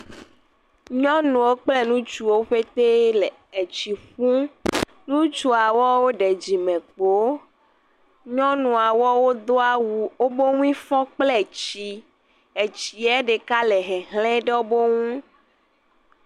Nyɔnuwo kple ŋutsuwo ƒetee le etsi ƒum. Nutsuawo woɖe dzimekpoo. Nyɔnua woawo do awu woƒe ŋui fɔ kple tsii. Etsiɛ ɖeka le hehlẽ ɖe wobo ŋu.